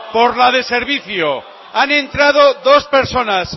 por la de servicio han entrado dos personas